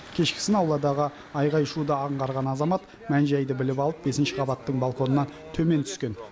кешкісін ауладағы айғай шуды аңғарған азамат мән жайды біліп алып бесінші қабаттың балконынан төмен түскен